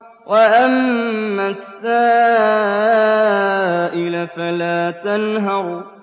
وَأَمَّا السَّائِلَ فَلَا تَنْهَرْ